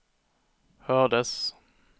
hördes